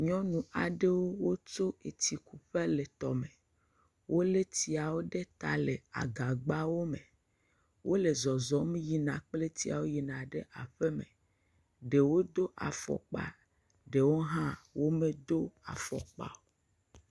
Nyɔnu aɖewo wotso etsi kuƒe le tɔme, wolé tsiawo ɖe ta le agagbawo me wole zɔzɔm yina kple tsiawo yina ɖe aƒeme, ɖewo do afɔkpa eye ɖewo medo afɔkpa o.